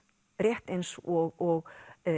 rétt eins og